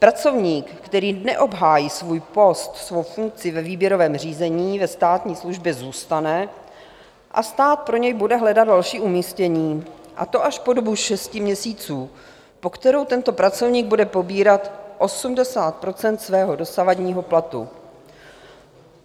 Pracovník, který neobhájí svůj post, svou funkci ve výběrovém řízení, ve státní službě zůstane a stát pro něj bude hledat další umístění, a to až po dobu šesti měsíců, po kterou tento pracovník bude pobírat 80 % svého dosavadního platu.